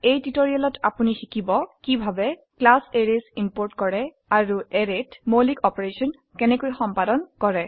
এই টিউটোৰিয়ালত আপোনি শিকিব কিভাবে ক্লাছ এৰেইছ ইম্পোৰ্ট কৰে আৰু অ্যাৰেত মৌলিক অপাৰেশন সম্পাদন কৰে